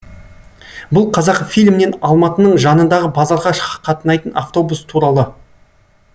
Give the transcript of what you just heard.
бұл қазақфильмнен алматының жанындағы базарға қатынайтын автобус туралы